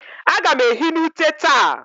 A gam ehi n'ute taa.